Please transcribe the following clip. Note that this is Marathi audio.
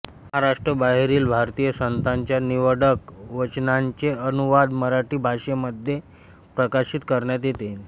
महाराष्ट्राबाहेरील भारतीय संतांच्या निवडक वचनांचे अनुवाद मराठी भाषेमध्ये प्रकाशित करण्यात येतील